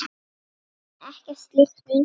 En ekkert slíkt mun gerast.